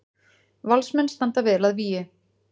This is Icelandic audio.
Valsmenn standa vel að vígi